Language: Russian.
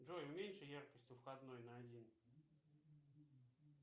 джой уменьши яркость у входной на один